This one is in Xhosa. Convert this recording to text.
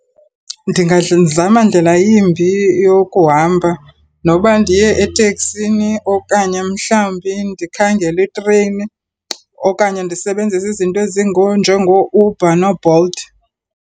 Ndingazama ndlela yimbi yokuhamba noba ndiye eteksini okanye mhlawumbi ndikhangele itreyini okanye ndisebenzise izinto ezinjengooUber nooBolt.